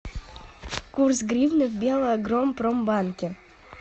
курс гривны в белагропромбанке